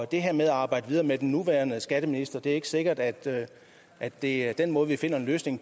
det her med at arbejde videre med den nuværende skatteminister er det ikke sikkert at at det er den måde vi finder en løsning